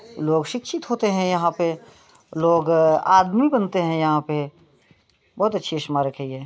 लोग शिक्षित होते है यहाँ पे लोग-- आदमी बनते है यहाँ पे बहुत अच्छी स्मारक है ये।